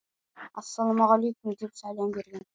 ассалаумағалейкүм деп сәлем берген